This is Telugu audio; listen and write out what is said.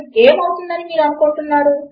ఇది మీకు రెండు పోలికలు చేసే అవకాశము ఇస్తుంది